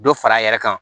Dɔ fara a yɛrɛ kan